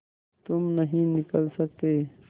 तुम नहीं निकल सकते